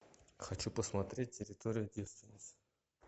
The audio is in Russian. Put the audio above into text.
хочу посмотреть территория девственниц